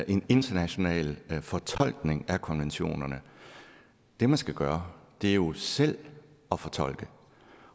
en international fortolkning af konventionerne det man skal gøre er jo selv at fortolke